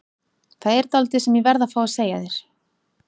Það er dálítið sem ég verð að fá að segja þér.